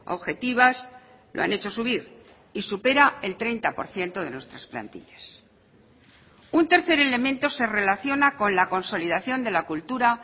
objetivas lo han hecho subir y supera el treinta por ciento de nuestras plantillas un tercer elemento se relaciona con la consolidación de la cultura